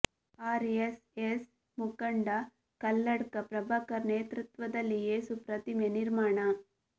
R S S ಮುಖಂಡ ಕಲ್ಲಡ್ಕ ಪ್ರಭಾಕರ್ ನೇತೃತ್ವದಲ್ಲಿ ಏಸು ಪ್ರತಿಮೆ ನಿರ್ಮಾಣ